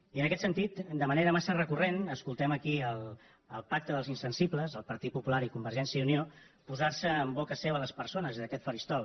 i en aquest sentit de manera massa recurrent escoltem aquí al pacte dels insensibles al partit popular i a convergència i unió posar se en boca seva les persones des d’aquest faristol